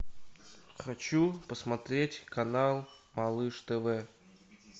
хочу посмотреть канал малыш тв